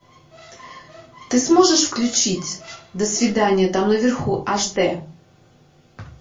ты сможешь включить до свидания там наверху аш дэ